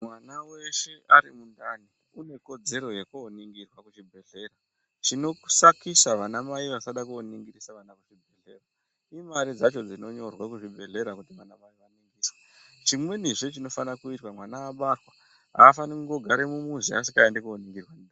Mwana weshe ari mundani une kodzero yekoningirwa kuchibhedhlera. Chinosakisa vana mai vasada koningirwa kuchibhedhlera imare dzacho dzinonyorwa kuchibhedhlera kuti mwana aningiswe, chimweni chinofana kuitwa mwana abarwa afani kungogara mumuzi asingaendi kooningirwa.